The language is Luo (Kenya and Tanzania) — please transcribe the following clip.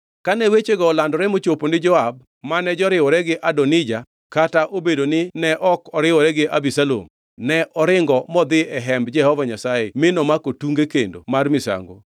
Kane wechego olandore mochopo ni Joab mane joriwore gi Adonija kata obedo ni ne ok oriwore gi Abisalom, ne oringo modhi e Hemb Jehova Nyasaye mi nomako tunge kendo mar misango.